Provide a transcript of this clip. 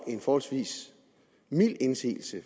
en forholdsvis mild indsigelse